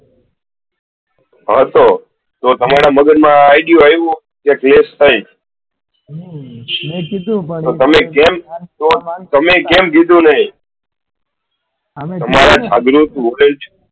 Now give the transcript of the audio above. હં તો તમારા મગજ માં આવ્યું કે આમ થાય તો તમે કેમ કીધું નઈ? તમારા જાગ્રુત volenteere